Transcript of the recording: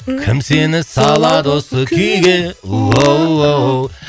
кім сені салады осы күйге оу оу